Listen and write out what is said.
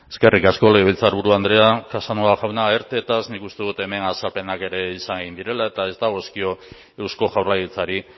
eskerrik asko legebiltzarburu andrea casanova jauna ertetaz nik uste dut hemen azalpenak ere esan egin direla eta ez dagozkio eusko jaurlaritzari